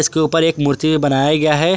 के ऊपर एक मूर्ति बनाया गया है।